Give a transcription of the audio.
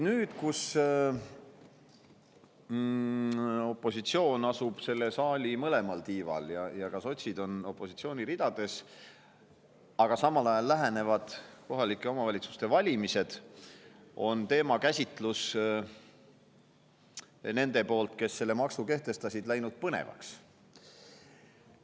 Nüüd, kui opositsioon asub selle saali mõlemal tiival ehk ka sotsid on opositsiooni ridades ja samal ajal lähenevad kohalike omavalitsuste valimised, on teema käsitlus nende poolt, kes selle maksu kehtestasid, läinud põnevaks.